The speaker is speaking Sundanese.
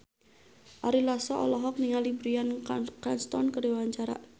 Ari Lasso olohok ningali Bryan Cranston keur diwawancara